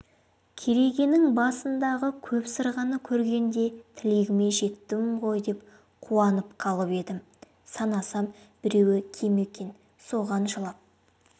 керегенің басындағы көп сырғаны көргенде тілегіме жеттім ғой деп қуанып қалып едім санасам біреуі кем екен соған жылап